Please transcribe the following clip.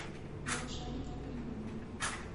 малышарики грибы